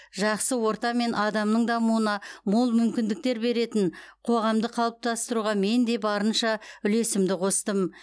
жақсы орта мен адамның дамуына мол мүмкіндіктер беретін қоғамды қалыптастыруға мен де барынша үлесімді қостым